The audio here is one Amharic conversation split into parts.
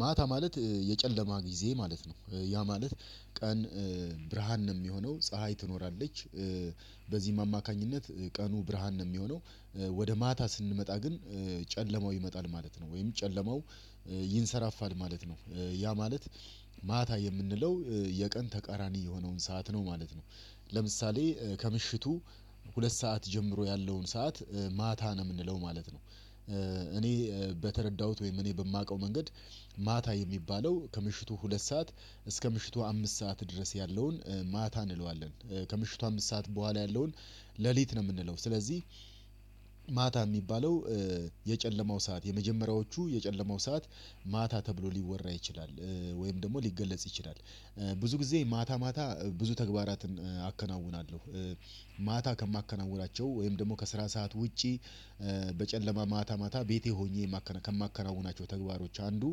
ማታ ማለት የጨለማ ጊዜ ማለት ነው ያ ማለት ቀን ብርሃን ነው እሚሆነው ፀሀይ ትኖራለች በዚህም አማካኝነት ቀኑ ብርሃን ነው የሚሆነው። ወደ ማታ ስንመጣ ግን ጨለማው ይመጣል ማለት ነው ወይም ጨለማው ይንሰራፋል ማለት ነው። ያ ማለት ማታ የምንለው የቀን ተቃራኒ የሆነውን ሰዓት ነው ማለት ነው። ለምሳሌ ከምሽቱ ሁለት ሰዓት ጀምሮ ያለውን ሰዓት ማታ ነው እምንለው ማለት ነው። እኔ በተረዳሁት ወይም እኔ በማውቀው መንገድ ማታ የሚባለው ከምሽቱ ሁለት ሰዓት እስከ ምሽቱ አምስት ሰዓት ድረስ ያለውን ማታ እንለዋለን። ከምሽቱ አምስት ሰዓት በኋላ ያለውን ሌሊት ነው እምንለው ስለዚህ። ማታ እሚባለው የጨለማው ሰዓት የመጀመሪያዎቹ የጨለማው ሰዓት ማታ ተብሎ ሊወራ ይችላል ወይም ደግሞ ሊገለጽ ይችላል። ብዙ ጊዜ ማታ ማታ ብዙ ተግባራትን አከናውናለሁ። ማታ ከማከናውናቸው ወይም ደግሞ ከስራ ሰዓት ውጪ። በጨለማ ማታ ማታ ቤቴ ሁኜ ከማከናውናቸው ተግባሮች አንዱ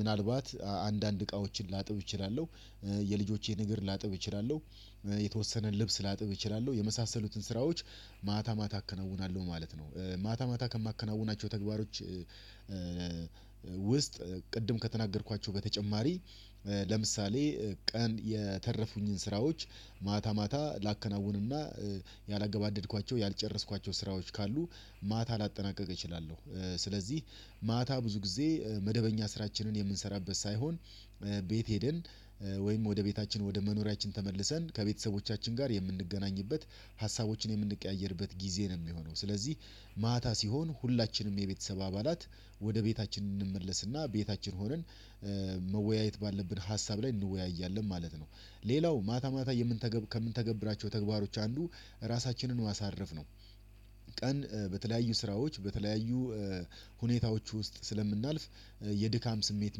ምናልባት አንዳንድ እቃዎችን ላጥብ እችላለሁ። የልጆቼን እግር ላጥብ እችላለሁ የተወሰነ ልብስ ላጥብ እችላለሁ የመሳሰሉትን ስራዎች። ማታ ማታ አከነውናለሁ ማለት ነው። ማታ ማታ ከማከናውናቸው ተግባሮች። ውስጥ ቅድም ከተናገርኳቸው በተጨማሪ ለምሳሌ ቀን የተረፉኝን ስራዎች ማታ ማታ ላከናውንና ያላገባደድኳቸው ያልጨረስኳቸው ስራዎች ካሉ ማታ ላጠናቀቅ እችላለሁ። ስለዚህ ማታ ብዙ ጊዜ መደበኛ ስራችንን የምንሰራበት ሳይሆን ቤት ሄደን ወይም ወደ ቤታችን ወደ መኖሪያችን ተመልሰን ከቤተሰቦቻችን ጋር የምንገናኝበት ሀሳቦችን የምንቀያየርበት ጊዜ ነው። እሚሆነው ስለዚህ ማታ ሲሆን ሁላችንም የቤተሰብ አባላት ወደ ቤታችን እንመለስና ቤታችን ሆነን መወያየት ባለብን ሀሳብ ላይ እንወያያለን ማለት ነው። ሌላው ማታ ማታ ከምንተገብራቸው ተግባሮች አንዱ ራሳችንን ማሳረፍ ነው። ቀን በተለያዩ ስራዎች በተለያዩ ሁኔታዎች ውስጥ ስለምናልፍ የድካም ስሜት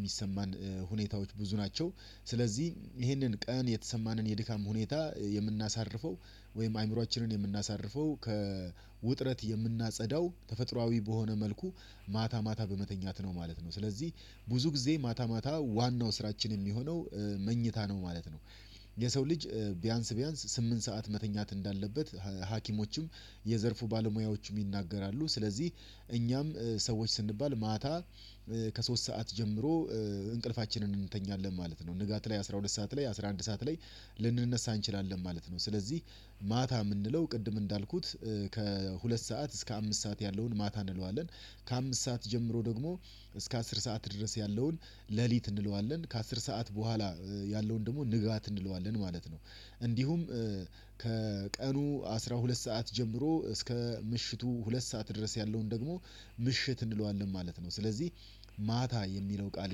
እሚሰማን ሁኔታዎች ብዙ ናቸው። ስለዚህ ይሄንን ቀን የተሰማንን የድካም ሁኔታ የምናሳርፈው ወይም አእምሮአችንን የምናሳርፈው ከውጥረት የምናጸዳው ተፈጥሮአዊ በሆነ መልኩ ማታ ማታ በመተኛት ነው ማለት ነው። ስለዚህ ብዙ ጊዜ ማታ ማታ ዋናው ስራችን እሚሆነው መኝታ ነው ማለት ነው። የሰው ልጅ ቢያንስ ቢያንስ ስምንት ሰዓት መተኛት እንዳለበት ሀኪሞችም የዘርፉ ባለሙያዎች ይናገራሉ። ስለዚህ እኛም ሰዎች ስንባል ማታ ከሶስት ሰዓት ጀምሮ እንቅልፋችንን እንተኛለን ማለት ነው። ንጋት ላይ አስራ ሁለት ሰዓት ላይ አስራ አንድ ሰዓት ላይ ልንነሳ እንችላለን ማለት ነው። ስለዚህ ማታ እምንለው ቅድም እንዳልኩት ከሁለት ሰዓት እስከ አምስት ሰዓት ያለውን ማታ እንለዋለን። ከአምስት ሰዓት ጀምሮ ደግሞ እስከ አስር ሰዓት ድረስ ያለውን ሌሊት እንለዋለን ከአስር ሰዓት በኋላ ያለውን ደግሞ ንጋት እንለዋለን ማለት ነው። እንዲሁም ከቀኑ አስራ ሁለት ሰዓት ጀምሮ እስከ ምሽቱ ሁለት ሰዓት ድረስ ያለውን ደግሞ ምሽት እንለዋለን ማለት ነው። ስለዚህ ማታ የሚለው ቃል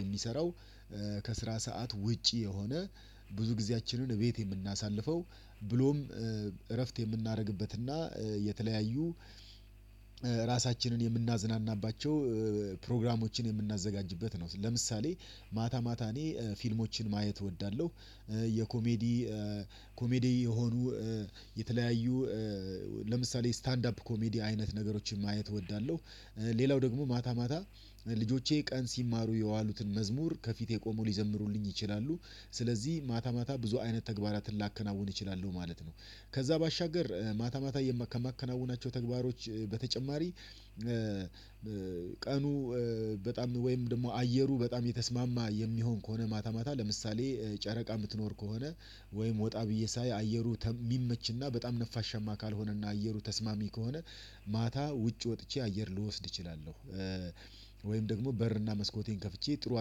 የሚሰራው ከስራ ሰዓት ውጪ የሆነ ብዙ ጊዜያችንን እቤት የምናሳልፈው ብሎም እረፍት የምናደርግበትና የተለያዩ ራሳችንን የምናዝናናባቸው ፕሮግራሞችን የምናዘጋጅበት ነው። ለምሳሌ ማታ ማታ እኔ ፊልሞችን ማየት እወዳለሁ። የኮሜዲ ኮሜዲ የሆኑ የተለያዩ ለምሳሌ ስታንድ አፕ ኮሜዲ አይነት ነገሮችን ማየት እወዳለሁ። ሌላው ደግሞ ማታ ማታ ልጆቼ ቀን ሲማሩ የዋሉትን መዝሙር ከፊቴ ቆመው ሊዘምሩልኝ ይችላሉ። ስለዚህ ማታ ማታ ብዙ አይነት ተግባራትን ላከናውን እችላለሁ ማለት ነው። ከዛ ባሻገር ማታ ማታ ከማከናወናቸው ተግባሮች በተጨማሪ። ቀኑ በጣም ወይም ደግሞ አየሩ በጣም የተስማማ የሚሆን ከሆነ ማታ ማታ ለምሳሌ ጨረቃ እምትኖር ከሆነ ወይም ወጣ ብዬ ሳይ አየሩ የሚመችና በጣም ነፋሻማ ካልሆነና አየሩ ተስማሚ ከሆነ ማታ ውጭ ወጥቼ አየር ልወስድ እችላለሁ። ወይም ደግሞ በርና መስኮቴን ከፍቼ ጥሩ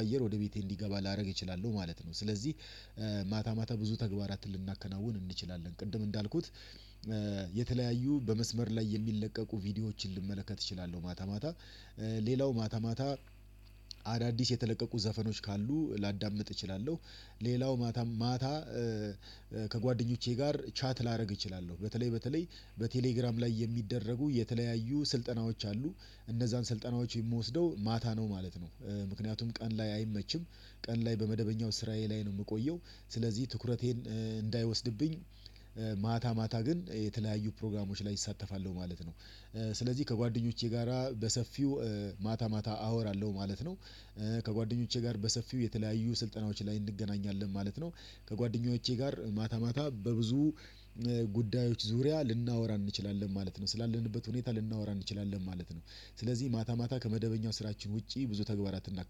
አየር ወደ ቤቴ እንዲገባ ላደርግ እችላለሁ ማለት ነው። ስለዚህ ማታ ማታ ብዙ ተግባራትን ልናከናውን እንችላለን ቅድም እንዳልኩት። የተለያዩ በመስመር ላይ የሚለቀቁ ቪዲዮዎችን ልመለከት እችላለሁ ማታ ማታ ሌላው ማታ ማታ አዳዲስ የተለቀቁ ዘፈኖች ካሉ ላዳምጥ እችላለሁ። ሌላው ማታ ማታ ከጓደኞቼ ጋር ቻት ላደርግ እችላለሁ በተለይ በተለይ በቴሌግራም ላይ የሚደረጉ የተለያዩ ስልጠናዎች አሉ። እነዛን ስልጠናዎች የምወስደው ማታ ነው ማለት ነው። ምክንያቱም ቀን ላይ አይመችም። ቀን ላይ በመደበኛው ስራዬ ላይ ነው እምቆየው። ስለዚህ ትኩረቴን እንዳይወስድብኝ። ማታ ማታ ግን የተለያዩ ፕሮግራሞች ላይ እሳተፋለሁ ማለት ነው። ስለዚህ ከጓደኞቼ ጋራ በሰፊው ማታ ማታ አወራለሁ ማለት ነው። ከጓደኞቼ ጋር በሰፊው የተለያዩ ስልጠናዎች ላይ እንገናኛለን ማለት ነው። ከጓደኞቼ ጋር ማታ ማታ በብዙ ጉዳዮች ዙሪያ ልናወራ እንችላለን ማለት ነው ስላለንበት ሁኔታ ልናወራ እንችላለን ማለት ነው። ስለዚህ ማታ ማታ ከመደበኛው ስራችን ውጪ ብዙ ተግባራት እናከናውናለን